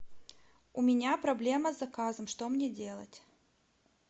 у меня проблема с заказом что мне делать